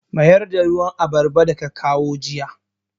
Mayar da ruwan abarba da ka kawo jiya!